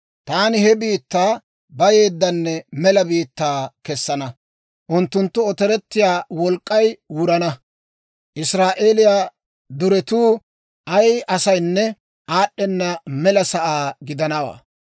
Taani he biittaa bayeeddanne mela biittaa kessana; unttunttu otorettiyaa wolk'k'ay wurana; Israa'eeliyaa deretuu ay asaynne aad'd'ena mela sa'aa gidana.